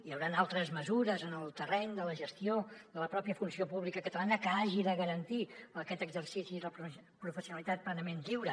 hi hauran altres mesures en el terreny de la gestió de la pròpia funció pública catalana que hagin de garantir aquest exercici i la professionalitat plenament lliure